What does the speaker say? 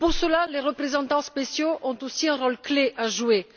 Et pour cela, les représentants spéciaux ont aussi un rôle clé à jouer.